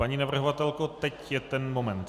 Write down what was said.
Paní navrhovatelko, teď je ten moment.